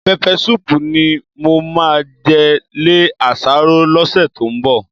Pẹpẹ súùpù ni mo máa jẹ lé àsáró lọ́sẹ̀ tó ń bọ̀